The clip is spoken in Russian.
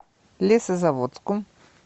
лесозаводску